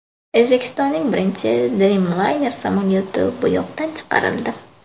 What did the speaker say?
O‘zbekistonning birinchi Dreamliner samolyoti bo‘yoqdan chiqarildi .